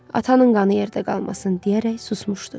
Atanın qanı yerdə qalmasın deyərək susmuşdu.